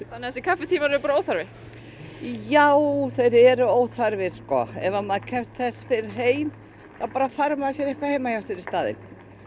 þannig þessir kaffitímar eru óþarfi já þeir eru óþarfi ef maður kemst fyrr heim þá bara fær maður sér eitthvað heima hjá sér í staðinn